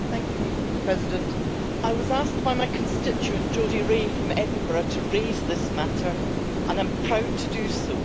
Madam President, I was asked by my constituent, Jody Rae from Edinburgh, to raise this matter and I'm proud to do so.